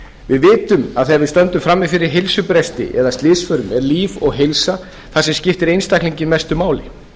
við vitum að þegar við stöndum frammi fyrir heilsubresti eða slysförum er líf og heilsa það sem skiptir einstaklinginn mestu máli